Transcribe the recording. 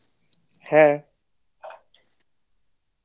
হ্যাঁ